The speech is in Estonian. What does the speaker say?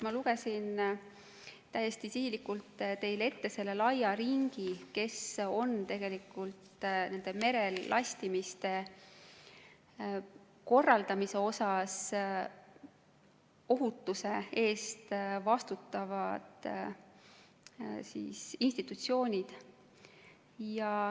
Ma lugesin täiesti sihilikult teile ette selle laia ringi, kes on tegelikult merel lastimise korraldamise osas ohutuse eest vastutavad institutsioonid.